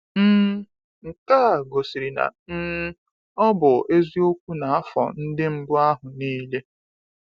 um Nke a gosiri na um ọ bụ eziokwu n’afọ ndị mbụ ahụ niile.